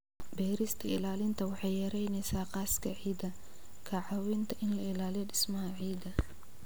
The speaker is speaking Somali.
Beerista ilaalinta waxay yaraynaysaa qaska ciidda, ka caawinta in la ilaaliyo dhismaha ciidda.